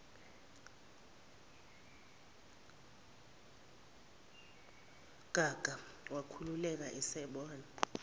gaga wakhululeka esebona